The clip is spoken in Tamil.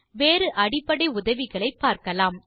வேறு அடிப்படை உதவிகளை பார்க்கலாம்